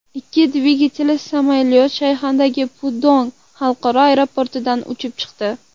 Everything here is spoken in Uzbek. Ikki dvigatelli samolyot Shanxaydagi Pudong xalqaro aeroportidan uchib chiqdi.